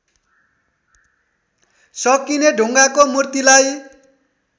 सकिने ढुङ्गाको मूर्तिलाई